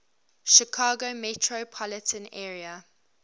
chicago metropolitan area